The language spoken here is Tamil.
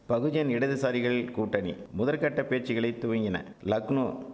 பகுஜன் இடதுசாரிகள் கூட்டணி முதற்கட்ட பேச்சுகளை துவங்கின லக்னோ